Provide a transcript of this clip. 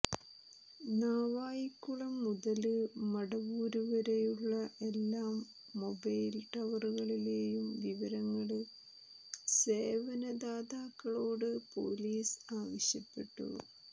നാവായിക്കുളം മുതല് മടവൂര് വരെയുള്ള എല്ലാ മൊബൈല് ടവറുകളിലെയും വിവരങ്ങള് സേവനദാതാക്കളോട് പൊലീസ് ആവശ്യപ്പെട്ടു